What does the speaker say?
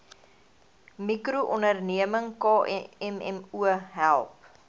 mikroonderneming kmmo help